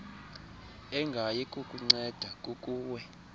engayi kukunceda kukuwe